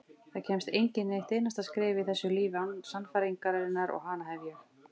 Það kemst enginn eitt einasta skref í þessu lífi án sannfæringarinnar og hana hef ég.